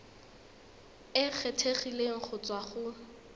e kgethegileng go tswa go